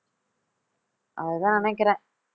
அதுதான் நினைக்கிறேன்